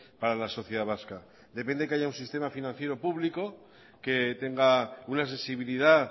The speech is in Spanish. para la sociedad vasca depende que haya un sistema financiera público que tenga una sensibilidad